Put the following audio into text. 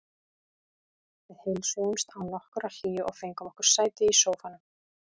Við heilsuðumst án nokkurrar hlýju og fengum okkur sæti í sófanum.